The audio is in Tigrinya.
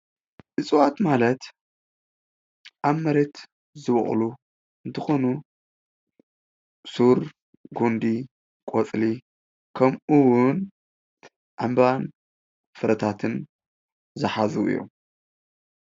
እፅዋት ማለት ኣብ መሬት ዝበቕሉ እንትኾኑ ሱር፣ ጉንዲ ፣ቆፅሊ ከምኡ እውን ዕንባባን ፋረታት ዝሓዘ እዪ።